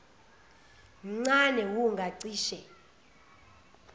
mncane wu ngacishe